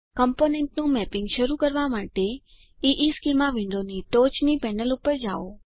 કમ્પોનન્ટનું mapping શરૂ કરવા માટે ઇશ્ચેમાં વિન્ડોની ટોચની પેનલ પર જાઓ